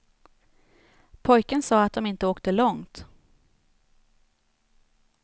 Pojken sa att dom inte åkte långt.